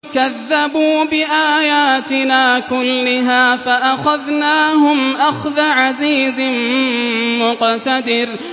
كَذَّبُوا بِآيَاتِنَا كُلِّهَا فَأَخَذْنَاهُمْ أَخْذَ عَزِيزٍ مُّقْتَدِرٍ